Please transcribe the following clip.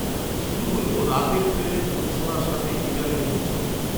শুরু হল রাতের ট্রেনের মূর্ছণার সাথে গীটারের মূর্ছণা